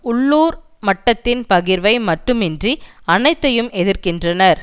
உள்ளூர் மட்டத்தின் பகிர்வை மட்டுமின்றி அனைத்தையும் எதிர்க்கின்றனர்